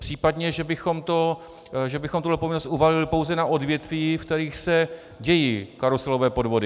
Případně že bychom tuto povinnost uvalili pouze na odvětví, ve kterých se dějí karuselové podvody.